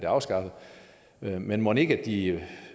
afskaffet men mon ikke at de